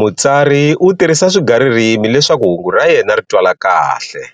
Mutsari u tirhisa swigaririmi leswaku hungu ra yena ri twala kahle,